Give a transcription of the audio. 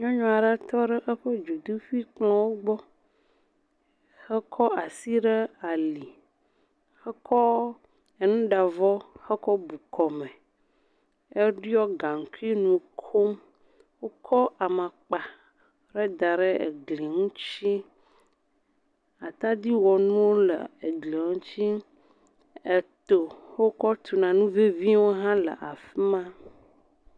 Nyɔnu aɖe tɔ ɖe eƒe dzodoƒuikplɔ̃wo gbɔ hekɔ asi ɖe ali hekɔ enuɖavɔ hekɔ bu kɔme. Eɖiɔ gaŋkui nu kom. Wokɔ amakpa heda ɖe egli ŋutsi. Atadiwɔnuwo le egli ŋutsi. Eto he wokɔ tuna nu ŋeŋiwo hã le afi ma.